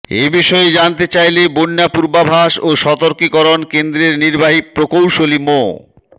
এ বিষয়ে জানতে চাইলে বন্যা পূর্বাভাস ও সতর্কীকরণ কেন্দ্রের নির্বাহী প্রকৌশলী মো